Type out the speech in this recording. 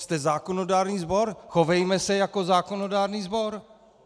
Jste zákonodárný sbor, chovejme se jako zákonodárný sbor.